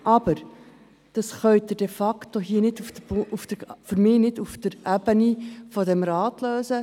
Aber, ich glaube, das können Sie de facto nicht auf Ebene des Grossen Rates lösen.